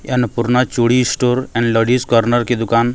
ये अन्नपूर्णा चूड़ी store and ladies corner की दूकान --